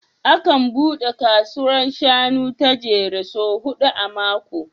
Akan buɗe kasuwar shanun ta Jere sau huɗu a mako